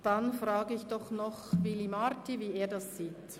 Dann frage ich doch noch Willy Marti, wie er das sieht.